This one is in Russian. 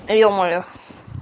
е-мое